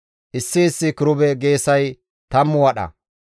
Issi issi kirube geesay tammu wadha.